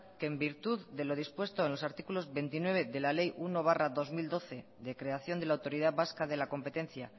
que en virtud de lo dispuesto en los artículos veintinueve de la ley uno barra dos mil doce de creación de la autoridad vasca de la competencia